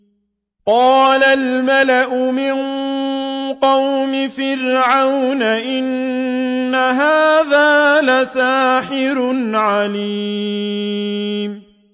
قَالَ الْمَلَأُ مِن قَوْمِ فِرْعَوْنَ إِنَّ هَٰذَا لَسَاحِرٌ عَلِيمٌ